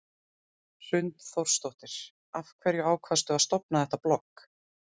Hrund Þórsdóttir: Af hverju ákvaðstu að stofna þetta blogg?